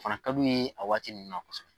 Fana ka d'u ye a waati ninnu na kosɛbɛ.